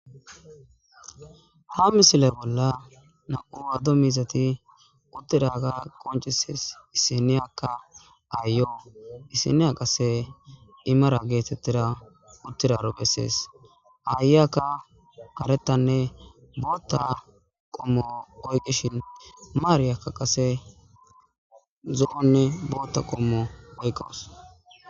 Ha misile bolla na7uruwaddo mizati uttidaga qoncises isiniyakka aayoo isiniya qase imara geetettida uttiraro bessees aayyaka harettanne bootta qommo oyqishin maariakka qase zo7onne bootta qommo oyqqawus.